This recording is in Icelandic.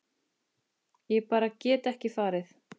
Ég bara get ekki farið